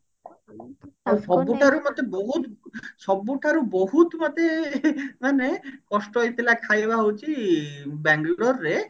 ଆଉ ସବୁଠାରୁ ମତେ ବହୁତ ସବୁ ଠାରୁ ବହୁତ ମତେ ମାନେ କଷ୍ଟ ହେଇଥିଲା ଖାଇବା ହଉଛି ବାଙ୍ଗେଲୋର ରେ